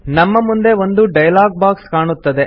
ನಮ್ಮ ಮುಂದೆ ಒಂದು ಡೈಲಾಗ್ ಬಾಕ್ಸ್ ಕಾಣುತ್ತದೆ